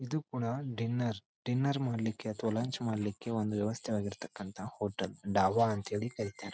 ಇದು ಕೂಡ dinner dinner ಮಾಡ್ಲಿಕ್ಕೆ ಅಥವಾ ಲಂಚ್ ಮಾಡ್ಲಿಕ್ಕೆ ಒಂದು ವ್ಯವಸ್ಥೆವಾಗಿರ್ತಕಂತ ಹೋಟೆಲ್ ಡಾಬಾ ಅಂತ ಹೇಳಿ ಕರೀತಾರೆ.